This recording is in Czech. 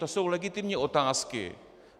To jsou legitimní otázky.